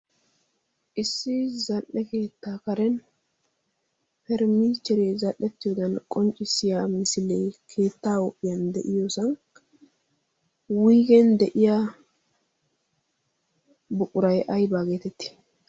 issi zal"e keettaa karen permiicheree zal'ettiyoodan qonccissiya misilee keettaa huuphiyan de'iyoosaa wiigen de'iya buuray aybaa geetetti